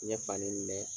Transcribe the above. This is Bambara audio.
N ye fani ninnu mɛn